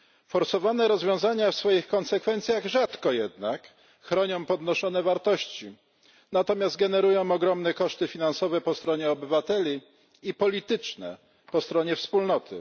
Forsowane rozwiązania w swoich konsekwencjach rzadko jednak chronią podnoszone wartości, natomiast generują ogromne koszty finansowe po stronie obywateli i polityczne po stronie Wspólnoty.